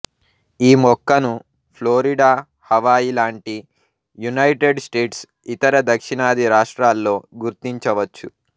ఈ మొక్కను Florida Hawaii లాంటి యునైటెడ్ స్టేట్స్ ఇతర దక్షిణాది రాష్ట్రాల్లో గుర్తించవచ్చు